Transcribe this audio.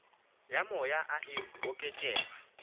ya moya e a oketšega